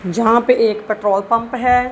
जहां पे एक पेट्रोल पंप है।